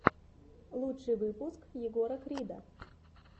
лучший выпуск егора крида